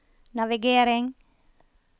navigering